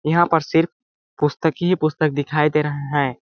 यहाँ पर सिर्फ पुस्तक ही पुस्तक दिखाई दे रहा है।